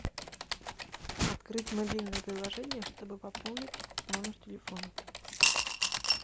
открыть мобильное приложение чтобы пополнить номер телефона